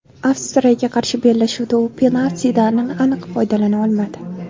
Avstriyaga qarshi bellashuvda u penaltidan aniq foydalana olmadi.